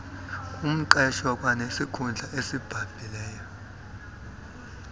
ngumqeshwa kwanesikhundla asibambileyo